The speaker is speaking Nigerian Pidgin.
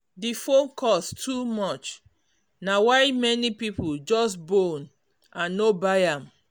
the phone cost too much na why many people just bone and no buy am.